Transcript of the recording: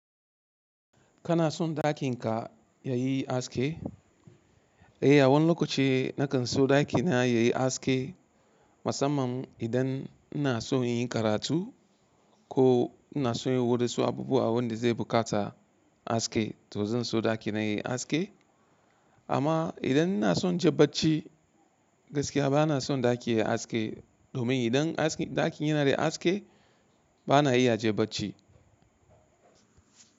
Kana son ɗakin ka ya yi haske? Eh, a wani lokaci na kan so ɗakina ya yi haske musamman idan ina son inyi karatu ko ina son inyi wadansu abubuwa wanda zai buƙata haske to zan so ɗakina ya yi aske. Amma idan ina son inje bacci gaskiya bana son ɗaki ya yi haske domin idan ɗakin yana da haske bana iya jabanci.